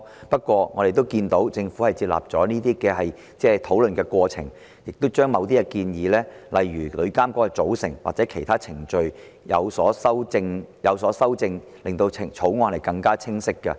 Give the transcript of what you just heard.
不過，政府在討論這些問題的過程中，已接納部分意見，亦修訂了某些建議，例如旅監局的組成或其他程序等，從而令《條例草案》更加清晰。